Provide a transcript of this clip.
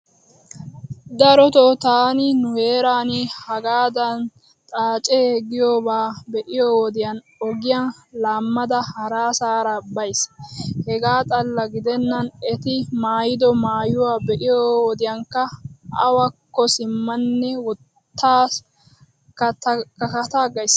Daroto taani nu heeran hagaadan xaace giyobaa be'iyo wodiyan ogiya laammada harasaara baysi. Hegaa xalla gidennan eti maayido maayuwa be'iyo wodiyankka awakko simmanne wottaa kataagays.